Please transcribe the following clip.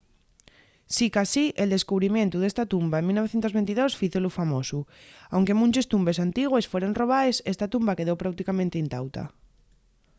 sicasí el descubrimientu d’esta tumba en 1922 fízolu famosu. aunque munches tumbes antigües fueron robaes esta tumba quedó práuticamente intauta